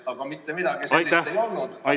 Aga mitte midagi sellist ei olnud.